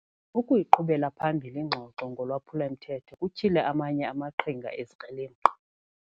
Ukuyiqhubela phambili ingxoxo ngolwaphulo-mthetho kutyhile amanye amaqhinga ezikrelemnqa.